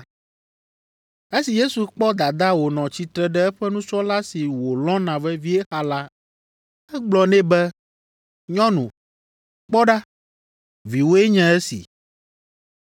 Esi Yesu kpɔ dadaa wònɔ tsitre ɖe eƒe nusrɔ̃la si wòlɔ̃na vevie xa la, egblɔ nɛ be, “Nyɔnu, kpɔ ɖa, viwòe nye esi.”